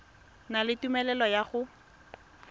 na le tumelelo ya go